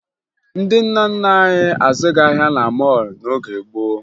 Ndị nna nna anyị azụghị ahịa na mọọlụ n'oge gboo